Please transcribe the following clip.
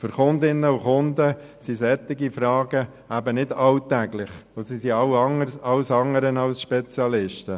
Für Kundinnen und Kunden sind solche Fragen nicht alltäglich, und sie sind alles andere als Spezialisten.